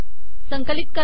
संकिलत करा